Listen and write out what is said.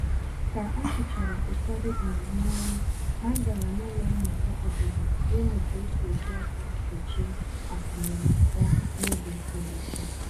Ka a chụchara ụfọdụ um n'ọrụ, ha gàrà n’ụlọ mmụta obodo ịmụ ka esi eji aka e che akụnụba n’oge siri ike